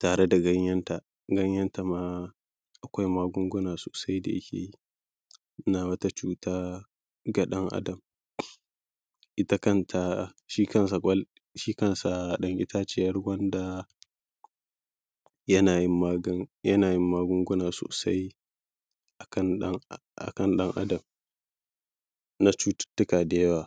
tare da ganyenta ganyenta ma akwai magunguna sosai da yake yi na wata cuta ga ɗan adam ita kanta shi kansa ƙwal shi kansa ɗan itaciyar gwanda yana yin magani yana yin magunguna sosai a kan ɗan adam a kan ɗan adam na cututtuka da yawa